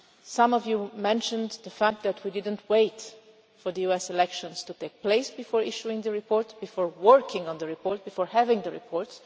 Some of you mentioned the fact that we did not wait for the US elections to take place before issuing the report before working on the report, before having the report.